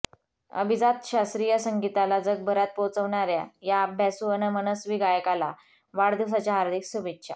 अभिजात शास्त्रीय संगीताला जगभरात पोहोचवणाऱ्या या अभ्यासू अन् मनस्वी गायकाला वाढदिवसाच्या हार्दिक शुभेच्छा